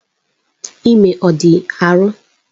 Ime ọ dị arọ?